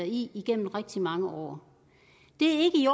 i igennem rigtig mange år det